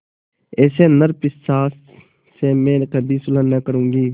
ऐसे नरपिशाच से मैं कभी सुलह न करुँगी